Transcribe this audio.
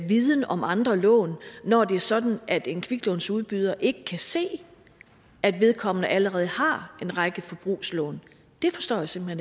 viden om andre lån når det er sådan at en kviklånsudbyder ikke kan se at vedkommende allerede har en række forbrugslån det forstår jeg simpelt